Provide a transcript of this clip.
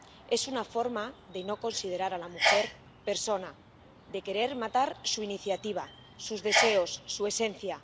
Es una forma de no considerar a la mujer persona, de querer matar su iniciativa, sus deseos, su esencia.